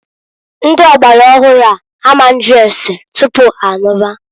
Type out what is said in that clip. Ndi ọgbara ọhụụ a ma nju ase tupu ha anụba.